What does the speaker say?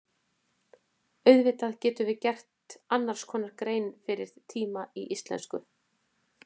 Auðvitað getum við gert annars konar grein fyrir tíma í íslensku.